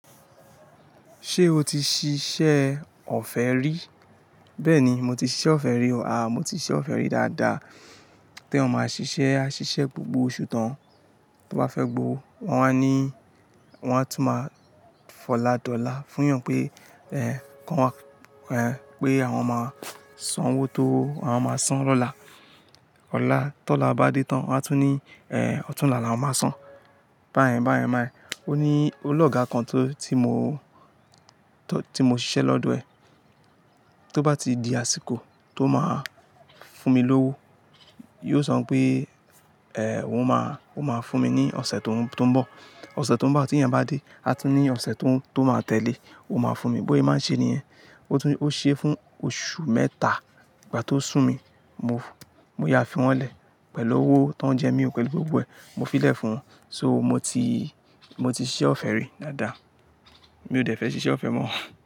Ṣé o ti ṣiṣẹ́ ọ̀fẹ́ rí? Bẹ́ẹ̀ni, mo ti ṣiṣẹ́ ọ̀fẹ́ rí o. Aà, mo ti ṣiṣẹ́ ọ̀fẹ́ rí dáadáa. Té'yàn ma ṣiṣẹ́, a ṣiṣẹ́ gbogbo oṣù tán. Tó bá fẹ́ gbo, wọ́n a ní, wọ́n a tún máa fọládọla fún eyàn pé, ẹ́, kó wá, ẹ́, pé àwọn máa san owó tó àwọn máa san lọ́la. Ọ̀la, tóọ̀la bá dé tán, wọ́n a tún ní, ẹ́, ọ̀túnla ni àwọn máa san. Bá yẹn, bá yẹn, bá yẹn. Ó ní o lóga kan tó, tí mo, tó, tí mo ṣiṣẹ́ lọ́dọ̀ ẹ̀. Tó bá ti di àsìkò tó máa fún mi lówó, yóò sọ pé, ẹ́, òun máa, òun máa fún mi ní ọ̀sẹ̀ tó ń bọ̀. Ọ̀sẹ̀ tó ń bọ̀ tí ìyẹn bá dé, a tún ní ọ̀sẹ̀ tó, tó máa tẹ́lé, òun máa fún mi. Bóye máa ń ṣe nìyẹn. Ó tún, ó ṣe é fún oṣù mẹ́ta. Ìgbà tó sùn mí, mo, mo ya fi wọn lẹ̀ pẹ̀lú owó tó ń jẹ mí o, pẹ̀lú gbogbo ẹ̀. Mo fi lẹ̀ fún wọn. So mo ti, mo ti ṣiṣẹ́ ọ̀fẹ́ rí dáadáa. Mi ò dẹ̀ fẹ́ ṣiṣẹ́ ọ̀fẹ́ mọ́.